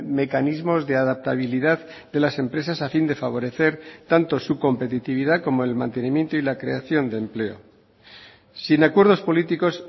mecanismos de adaptabilidad de las empresas a fin de favorecer tanto su competitividad como el mantenimiento y la creación de empleo sin acuerdos políticos